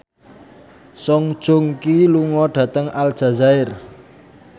Song Joong Ki lunga dhateng Aljazair